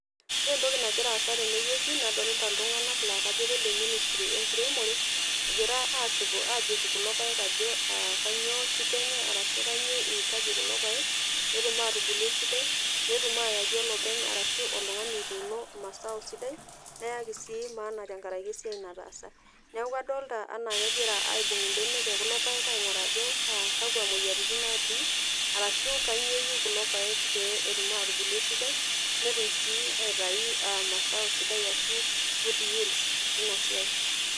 Ore entoki nagira aasa tenewueji nadolta ltunganak lakajo kale ministry enkiremore egira asipu ajoru kulo paek ajo kanyio shida enye arashu kanyio iitaji kulo paek petum atubulu esidai petumu ayaki olopeny arashu oltungani otuuno maaau sidan neyaki si maana tenkaraki esiai nataasa neaku adolta anaa kegira aingur mbenek ekulo paek ainguraa ajo kakwa moyiaritin natii arashu kanyio eyieu kulo paek petumoki atubulu esidai netum si aitau masao sidai ashu good yields tinasiai.